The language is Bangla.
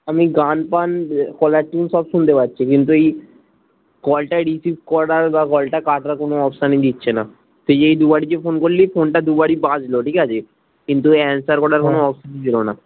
আমি গান ফান caller tune সব শুনতে পাচ্ছি কিন্তু এই call টা receive করার বা কলটা কাটার কোনো option দিচ্ছে না তুই যে এই দুবারি যে ফোনটা করলি ফোনটা দুবারি বাজলো ঠিকাছে কিন্তু answer করার কোনো option ছিলো না